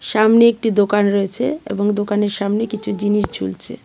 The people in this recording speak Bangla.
সামনে একটি দোকান রয়েছে এবং দোকানের সামনে কিছু জিনিস ঝুলছে.